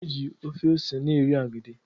A na-eji ofe ose na-eri agidi